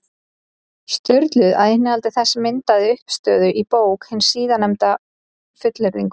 Sturlu, að innihald þess myndaði uppistöðuna í bók hins síðarnefnda, fullyrðingum.